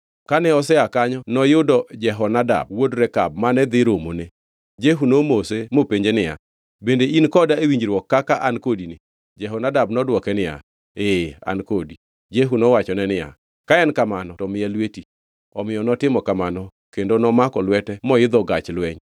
Kane osea kanyo noyudo Jehonadab wuod Rekab, mane dhi romone. Jehu nomose mopenje niya, “Bende in koda e winjruok kaka an kodini?” Jehonadab nodwoke niya, Ee an kodi. Jehu nowachone niya, “Ka en kamano, to miya lweti.” Omiyo notimo kamano kendo nomako lwete moidho gach lweny.